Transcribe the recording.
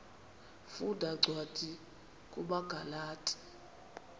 funda cwadi kumagalati